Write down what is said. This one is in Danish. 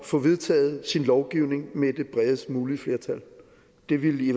få vedtaget sin lovgivning med det bredest mulige flertal det ville i